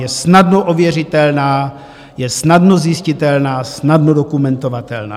Je snadno ověřitelná, je snadno zjistitelná, snadno dokumentovatelná.